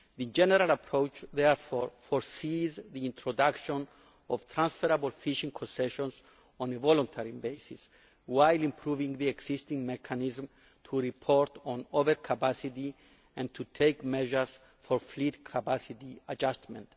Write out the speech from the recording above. The general approach therefore foresees the introduction of transferable fishing concessions on a voluntary basis, while improving the existing mechanism to report on over capacity and to take measures for fleet capacity adjustment.